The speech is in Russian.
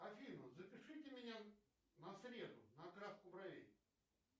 афина запишите меня на среду на окраску бровей